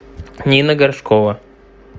нина горшкова